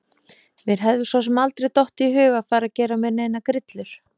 Mér hefði svo sem aldrei dottið í hug að fara að gera mér neinar grillur.